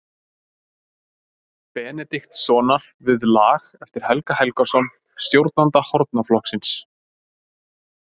Benediktssonar við lag eftir Helga Helgason, stjórnanda hornaflokksins.